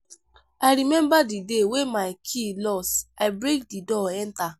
as i no know sey im dey come i tell am make im wait outside.